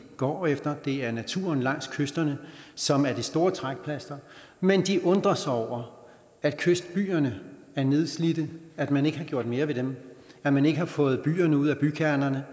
går efter det er naturen langs kysterne som er det store trækplaster men de undrer sig over at kystbyerne er nedslidte at man ikke har gjort mere ved dem at man ikke har fået bilerne ud af bykernerne